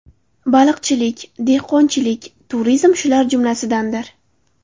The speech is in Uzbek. Baliqchilik, dehqonchilik, turizm shular jumlasidandir.